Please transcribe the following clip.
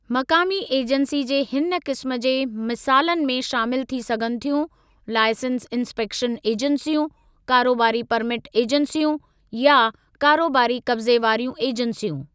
मक़ामी ऐजंसी जे हिन क़िस्मु जे मिसालनि में शामिलु थी सघनि थियूं, लाइसंस इन्सपेक्शन ऐजंसियूं, कारोबारी परमिट ऐजंसियूं, या कारोबारी क़ब्ज़े वारियूं ऐजंसियूं।